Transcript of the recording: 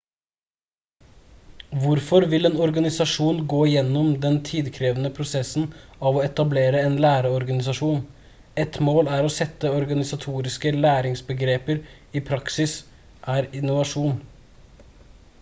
hvorfor vil en organisasjon gå gjennom den tidkrevende prosessen av å etablere en læreorganisasjon ett mål er å sette organisatoriske læringsbegreper i praksis er innovasjon